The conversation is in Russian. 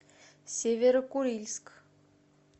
северо курильск